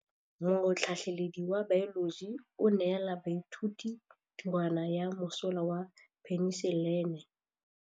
Motlhatlhaledi wa baeloji o neela baithuti tirwana ya mosola wa peniselene.